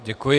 Děkuji.